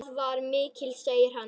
Það var mikið, sagði hann.